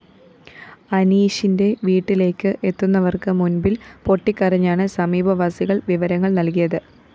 അനീഷിന്റെ വീട്ടിലേക്ക് എത്തുന്നവര്‍ക്ക് മുന്‍പില്‍ പൊട്ടിക്കരഞ്ഞാണ് സമീപവാസികള്‍ വിവരങ്ങള്‍ നല്‍കിയത്